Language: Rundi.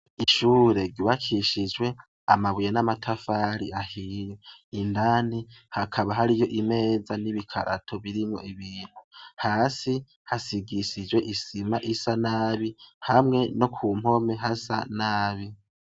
Ishure riwakishijwe amabuye n'amatafari ahiya indani hakaba hari yo imeza n'ibikarato birimwo ibintu hasi hasigisijwe isima isa nabi hamwe no ku mpome hasa nabi.